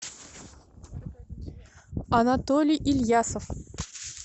анатолий ильясов